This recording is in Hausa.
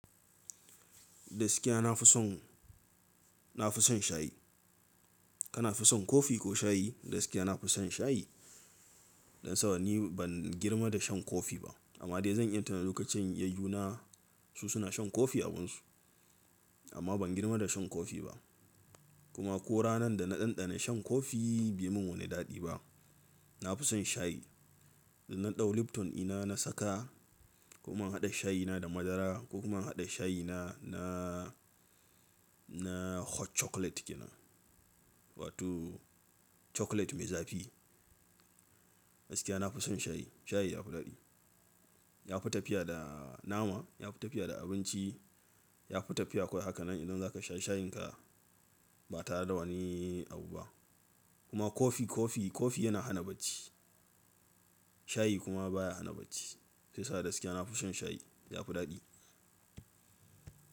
Gaskiya nafi son, nafi son shayi. Kana fi son kofi ko shayi? Gaskiya nafi son shayi. Dan saboda ni ban girma da shan kofi ba amma dai zan yi tuna lokacin yayyuna su suna shan kofi abinsu amma ban girma da shan kofi ba. Kuma ko ranan da na ɗanɗana shan kofi bai mun wani daɗi ba. Nafi son shayi. Na dau lipton ina na saka ko kuma in haɗa shayina da madara ko kuma in haɗa shayina na, na hot chocolate ke nan wato chocolate mai zafi. Gaskiya nafi son shayi. Shayi yafi daɗi. Yafi tafiya da nama, yafi tafiya da abinci, yafi tafiya. Kawai haka nan idan zaka sha shayinka ba tare da wani abu ba. Kuma kofi, kofi, kofi yana hana bacci. Shayi kuma baya hana bacci. Sai sa gaskiya nafi son shayi yafi daɗi.